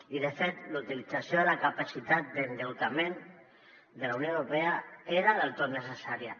i de fet la utilització de la capacitat d’endeutament de la unió europea era del tot necessària